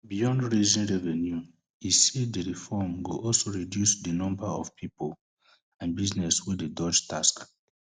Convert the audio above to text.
beyond raising revenue e say di reform go also reduce di number of pipo and businesses wey dey ddodge tax